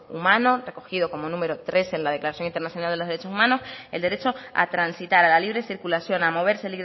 humano recogido como número trece en la declaración internacional de los derechos humanos el derecho a transitar a la libre circulación a moverse